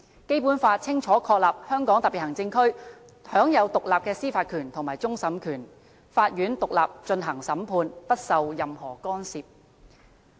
《基本法》清楚確立香港特別行區享有獨立的司法權和終審權，法院獨立進行審判，不受任何干預。